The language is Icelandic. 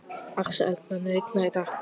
Axel, mun rigna í dag?